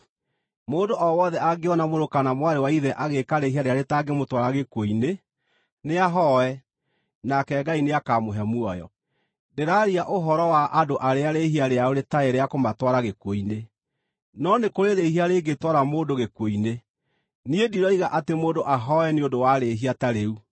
Mũndũ o wothe angĩona mũrũ kana mwarĩ wa ithe agĩĩka rĩĩhia rĩrĩa rĩtangĩmũtwara gĩkuũ-inĩ, nĩahoe, nake Ngai nĩakamũhe muoyo. Ndĩraaria ũhoro wa andũ arĩa rĩĩhia rĩao rĩtarĩ rĩa kũmatwara gĩkuũ-inĩ. No nĩ kũrĩ rĩĩhia rĩngĩtwara mũndũ gĩkuũ-inĩ. Niĩ ndiroiga atĩ mũndũ ahooe nĩ ũndũ wa rĩhia ta rĩu.